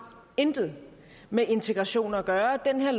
intet med integration at gøre den her